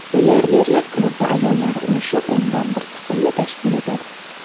Milliarderlar klubida ayollar ulushi o‘ndan bir qismni tashkil etadi.